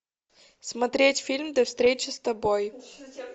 смотреть фильм до встречи с тобой